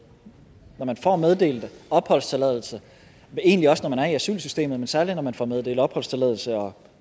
når man får meddelt opholdstilladelse egentlig også når man er i asylsystemet men særlig når man får meddelt opholdstilladelse og